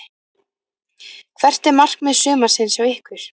Hvert er markmið sumarsins hjá ykkur?